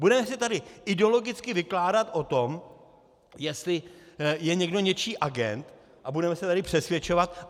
Budeme si tady ideologicky vykládat o tom, jestli je někdo něčí agent, a budeme se tady přesvědčovat?